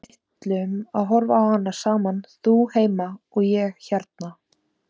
Við ætlum að horfa á hana saman, þú heima og ég hérna.